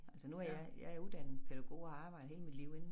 Altså nu er jeg jeg er uddannet pædagog og har arbejdet hele mit liv inde